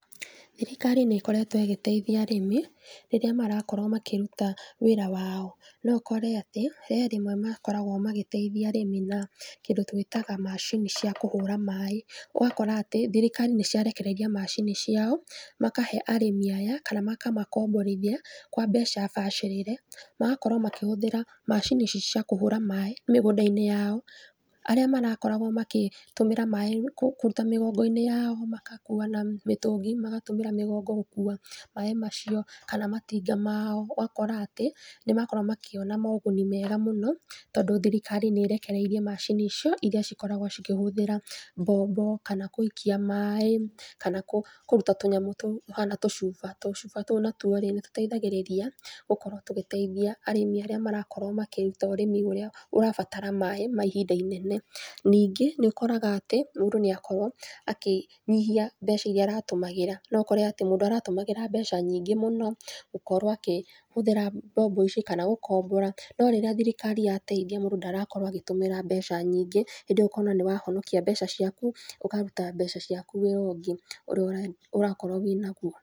Thirikari nĩ ĩkoretwo ĩgĩteithia arĩmi rĩrĩa marakorwo makĩruta wĩra wao. Nokore atĩ he rĩmwe makoragwo magĩteithia arĩmi na kĩndũ twĩtaga macini cia kuhũra maaĩ, ũgakora atĩ thirikari nĩciarekereria macini ciao makahe arĩmi aya kana makamakomborithia kwa mbeca bacĩrĩre, magakorwo makĩhuthĩra macini ici cia kũhũra maaĩ mĩgũnda-inĩ yao, arĩa marakoragwo makĩtũmĩra maaĩ kũruta mĩgongo-inĩ yao makakua na mĩtũngi, magatũmĩra mĩgongo gũkua maaĩ macio kana matinga mao ũgakora atĩ nĩmakorwo makĩona moguni mega mũno tondũ thirikari nĩ ĩrekereirie macini icio iria cikoragwo cikĩhũthĩra mbombo kana gũikia maaĩ, kana kũruta tũnyamũ tũhana tũcuba. Tũcuba tũu natuo-rĩ, nĩtũteithagĩrĩria gũkorwo tũgĩteithia arĩmi arĩa marakorwo makĩruta ũrĩmi ũrĩa ũrabatara maaĩ ma ihinda inene. Ningĩ, nĩ ũkoraga atĩ mũndũ nĩ akorwo akĩnyihia mbeca irĩa aratũmagĩra, no ukore atĩ mũndũ aratũmagĩra mbeca nyingĩ mũno gũkorwo akĩhũthĩra mbombo icio kana gũkombora, norĩrĩa thirikari yateithia mũndũ ndarakorwo agĩtũmĩra mbeca nyingĩ, hĩndĩ ĩyo ũkona nĩwahonokia mbeca ciaku, ũkaruta mbeca ciaku wĩra ũngĩ ũrĩa ũrakorwo wĩnagwo.